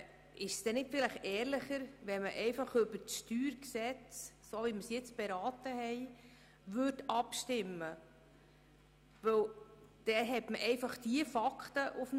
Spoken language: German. Ist es nicht ehrlicher, über das StG in der Form abzustimmen, wie wir es beraten haben?